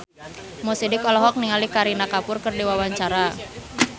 Mo Sidik olohok ningali Kareena Kapoor keur diwawancara